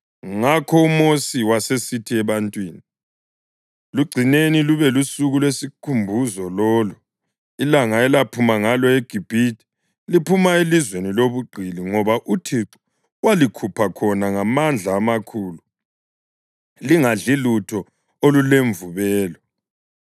Ngakho uMosi wasesithi ebantwini, “Lugcineni lube lusuku lwesikhumbuzo lolu, ilanga elaphuma ngalo eGibhithe, liphuma elizweni lobugqili, ngoba uThixo walikhupha khona ngamandla amakhulu. Lingadli lutho olulemvubelo.